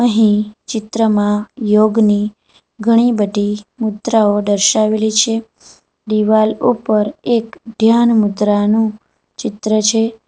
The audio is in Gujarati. અહીં ચિત્રમાં યોગની ઘણી બધી મુદ્રાઓ દર્શાવેલી છે દિવાલ ઉપર એક ધ્યાન મુદ્રાનું ચિત્ર છે.